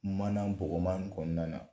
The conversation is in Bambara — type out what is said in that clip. Mana bɔgɔman ni kɔɔna na